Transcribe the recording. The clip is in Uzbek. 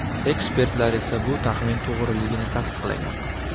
Ekspertlar esa bu taxmin to‘g‘riligini tasdiqlagan.